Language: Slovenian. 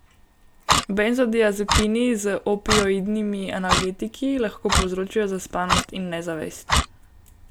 Benzodiazepini z opioidnimi analgetiki lahko povzročijo zaspanost in nezavest.